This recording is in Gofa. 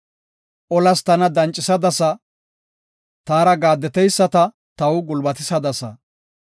Olas tana dancisadasa; taara gaaddeteyisata taw gulbatisadasa.